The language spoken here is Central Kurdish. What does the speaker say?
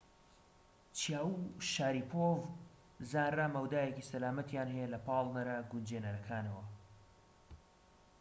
چیاو و شاریپۆڤ زانرا مەودایەکی سەلامەتیان هەیە لە پاڵنەرە گونجێنرەکانەوە